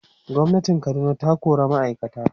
gwamnatin Kaduna ta kora ma'aikata